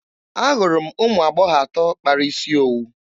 Ahụrụ m ụmụ agbọghọ atọ kpara isi owu.